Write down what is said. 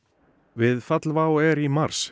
við fall WOW air í mars